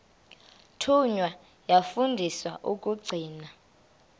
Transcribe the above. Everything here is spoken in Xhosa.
thunywa yafundiswa ukugcina